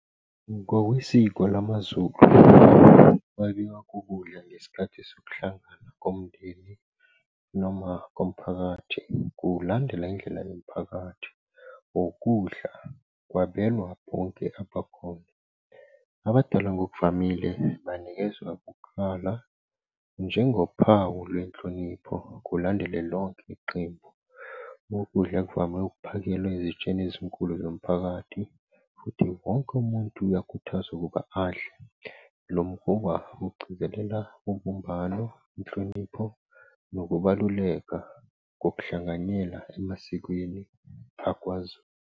Ngokwesiko lamaZulu ukwabiwa kokudla ngesikhathi sokuhlangana komndeni noma komphakathi ngokulandela indlela yomphakathi ngokudla kwabelwa bonke abakhona. Abadala ngokuvamile banikezwa kuqala njengophawu lwenhlonipho kulandele lonke iqembu. Ukudla kuvamile ukuphakelwa ezitsheni ezinkulu zomphakathi, futhi wonke umuntu uyakhuthazwa ukuba adle. Lo mkhuba ugcizelela ubumbano, inhlonipho, nokubaluleka ngokuhlanganyela emasikweni akwaZulu.